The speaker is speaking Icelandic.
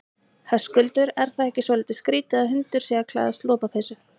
Höskuldur: Er það ekki svolítið skrítið að hundur sé að klæðast lopapeysu?